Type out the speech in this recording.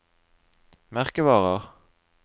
merkevarer